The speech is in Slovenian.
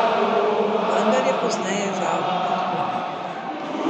Vendar je pozneje, žal, odklonil.